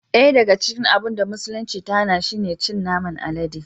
Daya daga cikin abun da musulunci ta hana shi ne cin naman alade